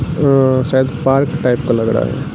वो शायद park type का लग रहा है।